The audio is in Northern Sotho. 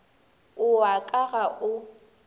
o wa ka ga o